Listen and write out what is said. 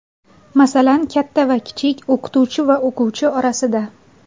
Masalan, katta va kichik, o‘qituvchi va o‘quvchi o‘rtasida.